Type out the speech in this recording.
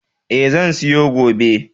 E, zan siyo gobe.